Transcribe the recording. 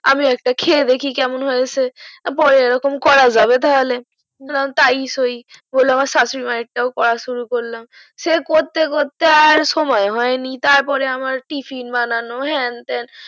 আমি একটা খেয়ে দেখি কেমন হয়েছে পরে এই রকম করা যাবে তাহলে বললাম তাই সই বলে আমার শাশুরি মায়ের টাও শুরু করলাম সেই করতে করতে আর সময় হয়নি তার পরে আমার টিফিন বানানো হ্যান তান